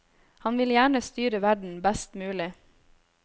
Han vil gjerne styre verden best mulig.